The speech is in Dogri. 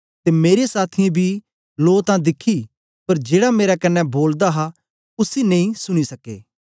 ते मेरे साथियें बी लो तां दिखी पर जेड़ा मेरे कन्ने बोलदा हा उसी नेई सुनी सके